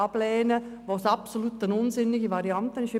Wir werden absolut unsinnige Varianten ablehnen.